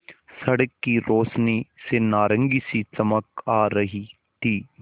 सड़क की रोशनी से नारंगी सी चमक आ रही थी